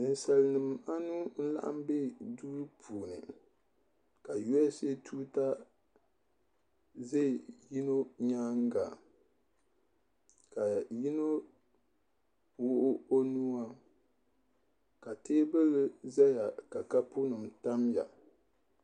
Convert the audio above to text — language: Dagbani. ninsalinima anu n-laɣim be duu puuni ka USA tuuta ʒe yino nyaaga ka yino wuɣi o nuu a ka teebuli zaya ka kaapu nima tam ya.